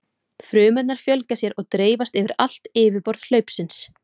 Frumurnar fjölga sér og dreifast yfir allt yfirborð hlaupsins.